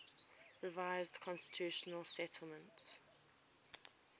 revised constitutional settlement